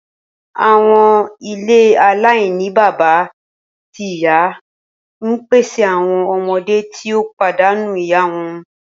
Awọn ile alainibaba ti iya n pese awọn ọmọde ti o padanu iya wọn.